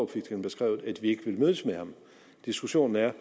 fik den beskrevet vi ikke ville mødes med ham diskussionen er